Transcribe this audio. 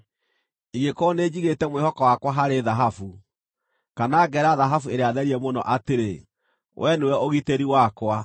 “Ingĩkorwo nĩnjigĩte mwĩhoko wakwa harĩ thahabu, kana ngeera thahabu ĩrĩa therie mũno atĩrĩ, ‘Wee nĩwe ũgitĩri wakwa,’